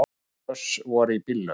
Tíu hross voru í bílnum.